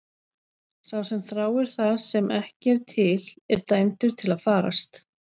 Sá sem þráir það sem ekki er til er dæmdur til að farast.